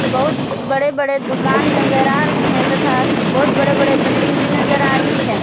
बहुत बड़े बड़े दुकान नजर आ रहे हैं तथा बहुत बड़े बड़े बिल्डिंग भी नजर आ रही है।